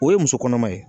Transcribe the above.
O ye muso kɔnɔma ye